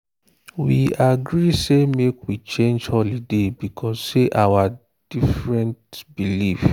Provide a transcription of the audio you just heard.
we agree say make we change holiday because say our different belief